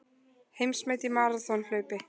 Heimsmet í maraþonhlaupi